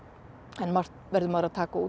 en margt verður maður að taka út